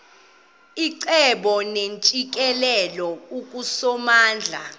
icebo neentsikelelo kusomandla